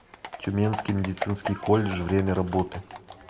тюменский медицинский колледж время работы